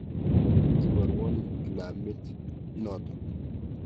Iporwon kilamit notok.